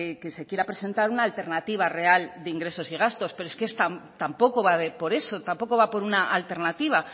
que se quiera presentar una alternativa real de ingresos y gastos pero es que tampoco va por eso tampoco va muy una alternativa